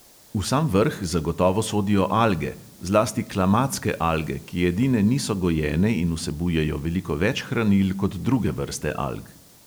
V sam vrh zagotovo sodijo alge, zlasti klamatske alge, ki edine niso gojene in vsebujejo veliko več hranil kot druge vrste alg.